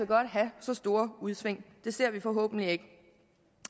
godt have så store udsving det ser vi forhåbentlig det